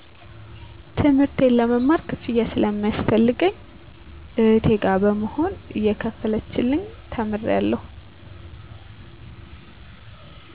ትምህርቴን ለመማር ክፍያ ስለሚያስፈልገኝ እህቴ ጋ በመሆን እየከፈለችልኝ ተምሬአለሁ